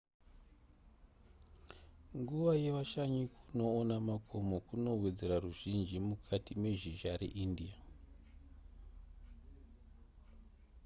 nguva yevashanyi kunoona makomo kunowedzera ruzhinji mukati mezhizha reindia